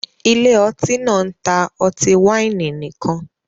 Ilé ọtí náà ń ta ọtí wáìnì nìkan